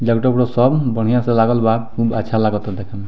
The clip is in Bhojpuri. लैपटॉप उपटप सब बढ़िया से लागल बा खूब अच्छा लागता देखे में।